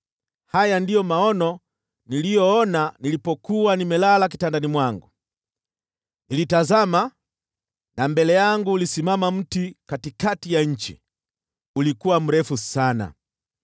Haya ndiyo maono niliyoona nilipokuwa nimelala kitandani mwangu: Nilitazama, na mbele yangu ulisimama mti katikati ya nchi. Ulikuwa mrefu sana.